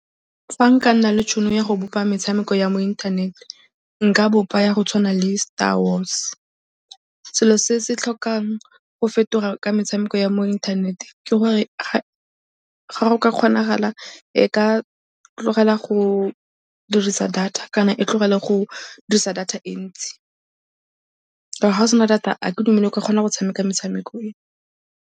Fa nka nna le tšhono ya go bopa metshameko ya mo inthanete, nka bopa ya go tshwana le Star Wars. Selo se se tlhokang go fetoga ka metshameko ya mo inthanete ke gore ga go ka kgonagala e ka tlogela go dirisa data kana e tlogele go dirisa data e ntsi ka gore fa o sena data ga ke dumele o ka kgona go tshameka metshameko e.